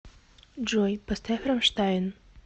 джой поставь рамштайн